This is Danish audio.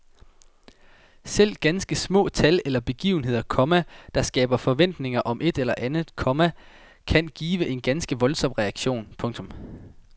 Selv ganske små tal eller begivenheder, komma der skaber forventninger om et eller andet, komma kan give en ganske voldsom reaktion. punktum